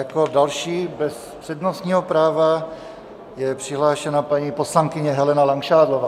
Jako další bez přednostního práva je přihlášena paní poslankyně Helena Langšádlová.